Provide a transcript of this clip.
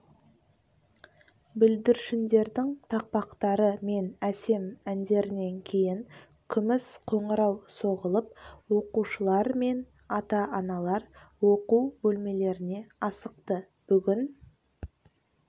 бүлдіршіндердің тақпақтары мен әсем әндерінен кейін күміс қоңырау соғылып оқушылар мен ата-аналар оқу бөлмелеріне асықты бүгін